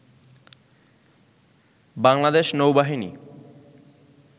বাংলাদেশ নৌবাহিনী